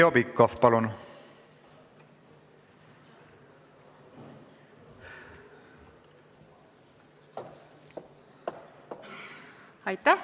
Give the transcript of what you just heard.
Heljo Pikhof, palun!